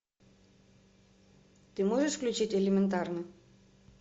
ты можешь включить элементарно